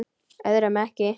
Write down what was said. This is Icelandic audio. Öðrum ekki.